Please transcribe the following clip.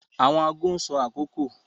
Awọn aago n sọ akoko